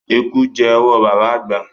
Eku jẹ́ owó baba àgbà.